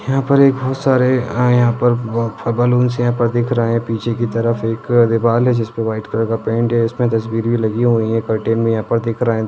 यहां पर एक बहुत सारे आ हया पर फ-बैलून दिख रहे है पीछे की तरफ एक दीवाल है जिस पर वाइट कलर का पेंट है इसमें तस्वीर भी लगी हुई है यहा पर दिख रहे--